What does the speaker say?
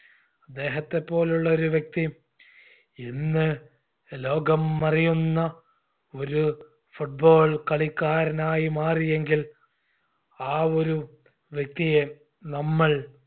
അദ്ദേഹത്തെ പോലുള്ളൊരു വ്യക്തി ഇന്ന് ലോകം അറിയുന്ന ഒരു football കളിക്കാരനായി മാറിയെങ്കിൽ ആ ഒരു വ്യക്തിയെ നമ്മൾ